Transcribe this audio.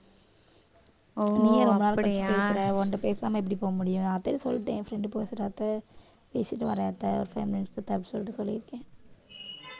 ஓ அப்புறம் என் ஆடை உன்கிட்ட பேசாம எப்படி போக முடியும் நான் அதான் சொல்லிட்டேன் என் friend பேசுறாப்பு பேசிட்டு வரேன்ட்ட ஒரு five minutes கிட்ட அப்படி சொல்லிட்டு சொல்லியிருக்கேன்